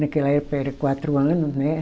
Naquela época era quatro anos, né?